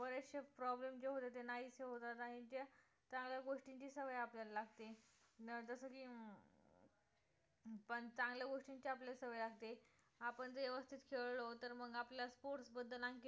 problem जे होतात ते नाहीसे होतात आणि त्या चांगल्या गोष्टींची सवय आपल्याला लागते जसं की अं पण चांगल्या गोष्टींची आपल्याला सवय लागते आपण व्यवस्थित खेळलो तर मग आपल sports बद्दल आणखीन